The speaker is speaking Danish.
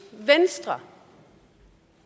venstre